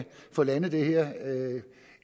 få landet det her